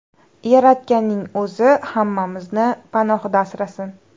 Yaratganning o‘zi hammamizni panohida asrasin!